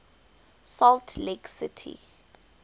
salt lake city